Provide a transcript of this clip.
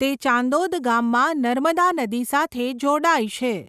તે ચાંદોદ ગામમાં નર્મદા નદી સાથે જોડાય છે.